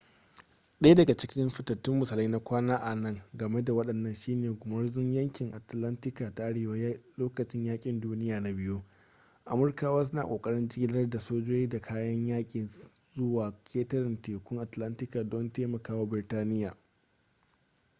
daya daga cikin fitattun misalai na kwana nan game da wannan shine gumurzun yankin atlantika ta arewa lokacin yakin duniya na biyu amurkawa suna ƙoƙarin jigilar da sojoji da kayan yaki zuwa ƙetarentekun atlantika don taimakawa biritaniya